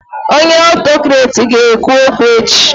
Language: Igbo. Onye Autokrati ga ekwu okwu echi